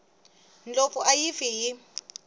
ndlopfu a yi fi hi